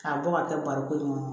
K'a bɔ ka kɛ barikon in kɔnɔ